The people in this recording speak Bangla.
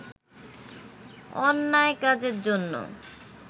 অন্যায় কাজের জন্যে